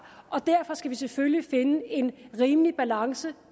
og derfor skal vi selvfølgelig finde en rimelig balance